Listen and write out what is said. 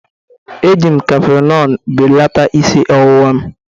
Eji m Kafinolu belata isi ọwụwa m.